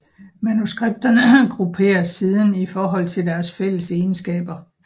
Manuskripterne grupperes siden i forhold til deres fælles egenskaber